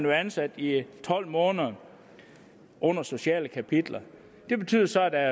være ansat i tolv måneder under sociale kapitler det betyder så at der